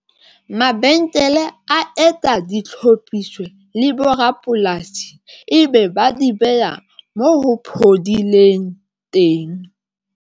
Mabenkele a etsa ditlhophiso le borapolasi ebe ba di beha moo ho phodileng teng.